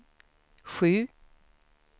sju